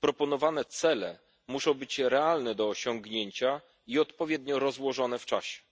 proponowane cele muszą być realne do osiągnięcia i odpowiednio rozłożone w czasie.